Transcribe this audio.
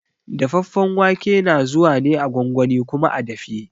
Dafaffen wake na zuwa ne a gwangwani kuma a dafe.